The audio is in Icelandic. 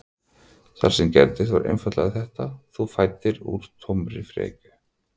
Það sem gerðist var einfaldlega þetta: Þú fæddir úr tómri frekju.